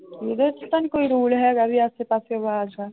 ਉਹਦੇ ਚ ਤਾਂ ਨੀ ਕੋਈ ਰੋਲ ਹੈਗਾ ਵੀ ਆਸੇ ਪਾਸੇ ਆਵਾਜ਼ ਆ।